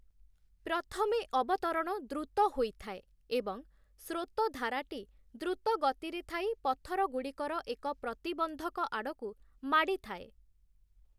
ପ୍ରଥମେ ଅବତରଣ ଦ୍ରୁତ ହୋଇଥାଏ ଏବଂ ସ୍ରୋତ ଧାରାଟି ଦ୍ରୁତ ଗତିରେ ଥାଇ, ପଥରଗୁଡ଼ିକର ଏକ ପ୍ରତିବନ୍ଧକ ଆଡ଼କୁ ମାଡ଼ିଥାଏ ।